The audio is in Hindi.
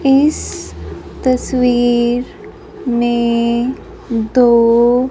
इस तस्वीर में दो--